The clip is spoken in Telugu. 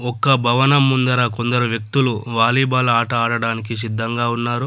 ఒక్క భవనం ముందర కొందరు వ్యక్తులు వాలీబాల్ ఆట ఆడడానికి సిద్ధంగా ఉన్నారు.